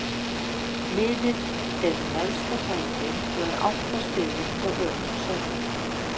Liðið er í neðsta sæti og er átta stigum frá öruggu sæti.